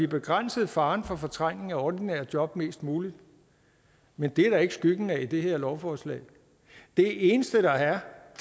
begrænser faren for fortrængning af ordinære job mest muligt men det er der ikke skyggen af i det her lovforslag det eneste der er